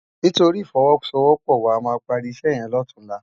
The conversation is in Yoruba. Nitóri ifòwòsówòpò wá àmá pári isè yèn lòtúnlá